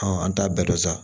an t'a bɛɛ dɔn sa